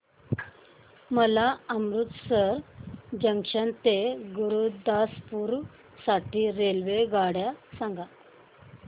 मला अमृतसर जंक्शन ते गुरुदासपुर साठी रेल्वेगाड्या सांगा